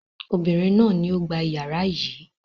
Obìnrin náà ni ó gba ìyàrá yìí.